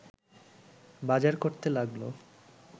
বাজার করতে লাগল